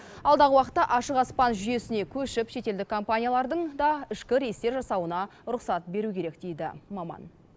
алдағы уақытта ашық аспан жүйесіне көшіп шетелдік компаниялардың да ішкі рейстер жасауына рұқсат беру керек дейді маман